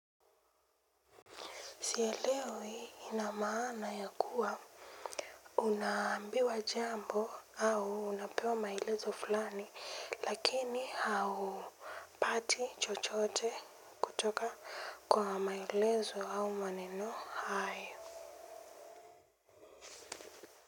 Sia leo hii ina maana ya kuwa unaambiwa jambo au unapewa maelezo fulani. Lakini haupati chochote kutoka kwa maelezo au maneno hayo.